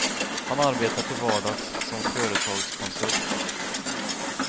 Han arbetar till vardags som företagskonsult.